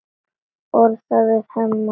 Orðar það við Hemma.